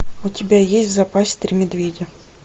у тебя есть в запасе три медведя